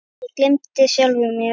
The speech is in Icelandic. Ég gleymdi sjálfum mér.